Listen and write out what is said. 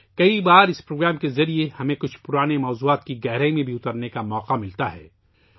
کئی بار اس پروگرام کے ذریعے ہمیں کچھ پرانے موضوعات کی گہرائی میں جانے کا موقع بھی ملتا ہے